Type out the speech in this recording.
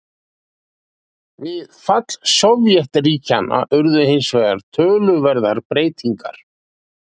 Við fall Sovétríkjanna urðu hins vegar töluverðar breytingar.